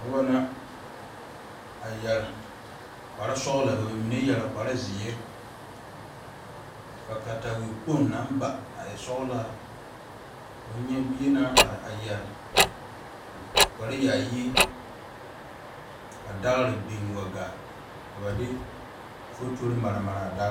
Noba la a yɛre kpare sɔglɔ ka ba mine a yeɛre kpare zeɛre, ka katawie kpoŋ naŋ ba a e sɔglaa ka fo bie naŋ are yeɛre kpare yaayi ka dagere biŋ biŋ waa gaa ka ba de fotori mare mare a dagere wa gaa.